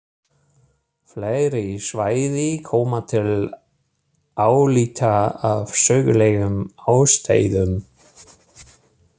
Fleiri svæði koma til álita af sögulegum ástæðum.